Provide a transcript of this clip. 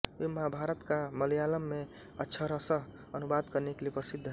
वे महाभारत का मलयालम में अक्षरशः अनुवाद करने के लिए प्रसिद्ध हैं